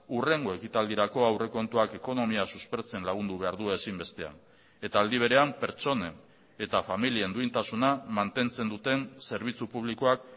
hurrengo ekitaldirako aurrekontuak ekonomia suspertzen lagundu behar du ezinbestean eta aldi berean pertsonen eta familien duintasuna mantentzen duten zerbitzu publikoak